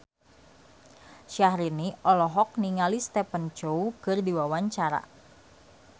Syahrini olohok ningali Stephen Chow keur diwawancara